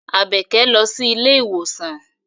Àbẹ̀kẹ́ lọ sí ilé ìwòsàn.